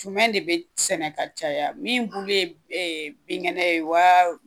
jumɛɛ de bɛ sɛnɛ ka caya min' bulu ye binkɛnɛ ye wa